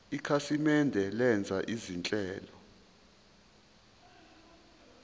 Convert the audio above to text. ikhasimende lenza izinhlelo